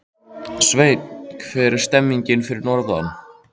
Sveinn, hvernig er stemningin fyrir norðan?